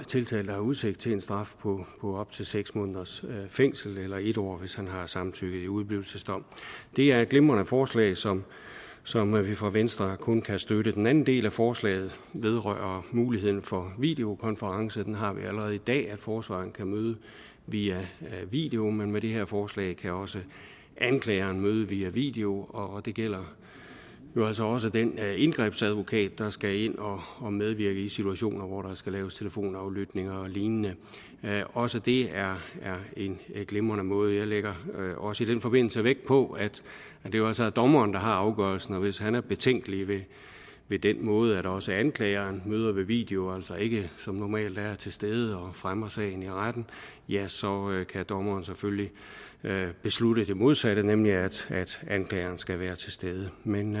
tiltalte har udsigt til en straf på op til seks måneders fængsel eller en år hvis han har samtykket ved udeblivelsesdom det er et glimrende forslag som som vi fra venstre kun kan støtte den anden del af forslaget vedrører muligheden for videokonference den har vi allerede i dag således at forsvareren kan møde via video men med det her forslag kan også anklageren møde via video og det her gælder jo altså også den indgrebsadvokat der skal ind og medvirke i situationer hvor der skal laves telefonaflytninger og lignende også det er en glimrende måde jeg lægger også i den forbindelse vægt på at det jo altså er dommeren der har afgørelsen og hvis han er betænkelig ved den måde at også anklageren møder ved video og altså ikke som normalt er til stede og fremmer sagen i retten så kan dommeren selvfølgelig beslutte det modsatte nemlig at anklageren skal være til stede men